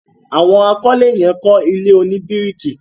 àwọn àkọlé yen kọ ilé oní biriki.